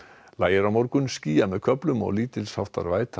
lægir á morgun skýjað með köflum og lítils háttar væta